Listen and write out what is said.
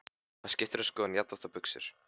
Hann skiptir um skoðun jafnoft og buxur.